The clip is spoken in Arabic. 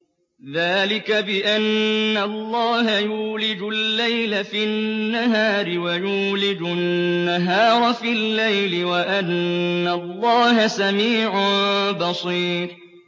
ذَٰلِكَ بِأَنَّ اللَّهَ يُولِجُ اللَّيْلَ فِي النَّهَارِ وَيُولِجُ النَّهَارَ فِي اللَّيْلِ وَأَنَّ اللَّهَ سَمِيعٌ بَصِيرٌ